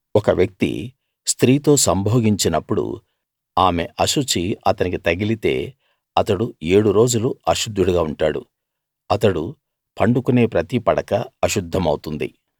ఒక వ్యక్తి స్త్రీతో సంభోగించినప్పుడు ఆమె అశుచి అతనికి తగిలితే అతడు ఏడు రోజులు అశుద్ధుడుగా ఉంటాడు అతడు పండుకునే ప్రతి పడకా అశుద్ధమవుతుంది